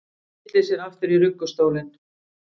Tyllir sér aftur í ruggustólinn.